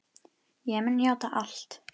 Ég mun játa allt.